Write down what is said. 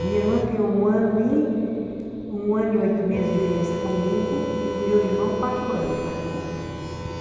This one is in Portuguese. A minha irmã tem um ano e um ano e oito meses de diferença comigo e o meu irmão quatro anos, mais novo.